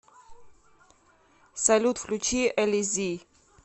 салют включи элизи